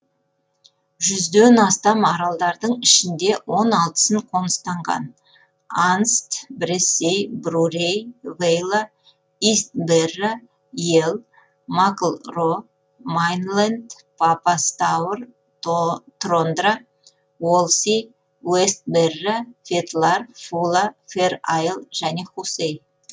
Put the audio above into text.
жүзден астам аралдардың ішінде он алтысын қоныстанған анст брессей брурей вейла ист берра йелл макл ро майнленд папа стаур трондра уолси уэст берра фетлар фула фэр айл және хусей